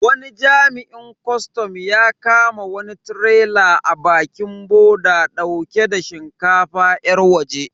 Wani jami'in kwastam ya kama wani tirela a bakin boda dauke da shinkafa yar waje.